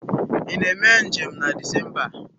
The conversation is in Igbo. Ị na-eme njem na Disemba a?